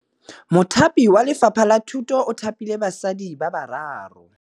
Mothapi wa Lefapha la Thutô o thapile basadi ba ba raro.